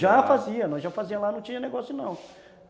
Já fazia, nós já fazia lá, não tinha negócio não.